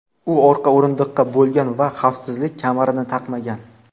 U orqa o‘rindiqda bo‘lgan va xavfsizlik kamarini taqmagan.